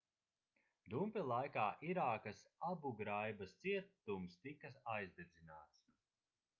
dumpja laikā irākas abugraibas cietums tika aizdedzināts